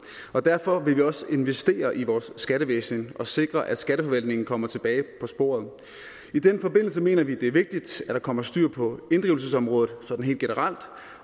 og derfor vil vi også investere i vores skattevæsen og sikre at skatteforvaltningen kommer tilbage på sporet i den forbindelse mener vi det er vigtigt at der kommer styr på inddrivelsesområdet helt generelt